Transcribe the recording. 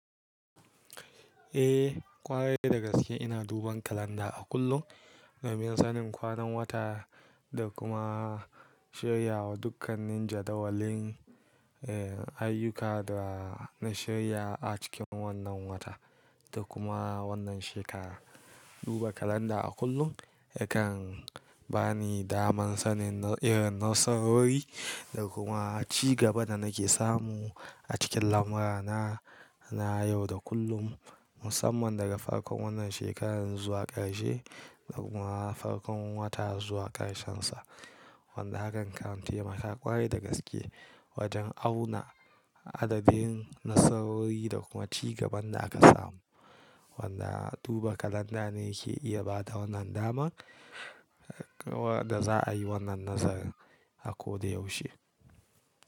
Eh, ƙware da gaske ina duban kalanda a kullum domin sanin kwanan wata da kuma shirya dukkanin jadawalin, eh, ayyuka da na shirya a cikin wannan wata da kuma wannan shekara. Duba kalanda a kullum yakan ba ni daman sanin irin nasarori da kuma cigaban da nake samu a cikin lamura na, na yau da kullum, musamman daga farkon wannan shekarar zuwa ƙarshe da kuma farkon wata zuwa ƙarshensa. Wanda hakan kan taimaka ƙwarai da gaske wajen auna adadin nasarori da kuma cigaban da aka samu. Wanda duba kalanda ne ke iya bada wannan dama wadda za a yi wannan nazarin a ko da yaushe.